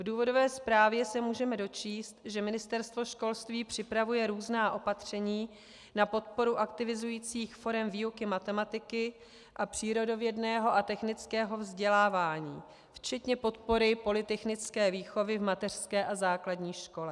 V důvodové zprávě se můžeme dočíst, že Ministerstvo školství připravuje různá opatření na podporu aktivizujících forem výuky matematiky a přírodovědného a technického vzdělávání, včetně podpory polytechnické výchovy v mateřské a základní škole.